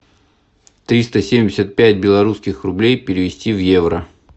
триста семьдесят пять белорусских рублей перевести в евро